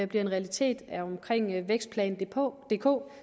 bliver en realitet i forbindelse med vækstplan dk dk